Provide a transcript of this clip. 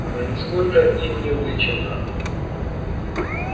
она нисколько им не увлечена